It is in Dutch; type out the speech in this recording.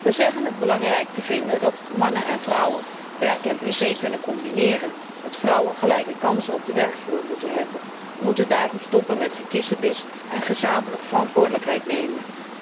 We zeggen het belangrijk te vinden dat mannen en vrouwen werk en privé kunnen combineren, dat vrouwen gelijke kansen op de werkvloer moeten hebben. We moeten daarom stoppen met gekissebis en gezamenlijk verantwoordelijkheid nemen.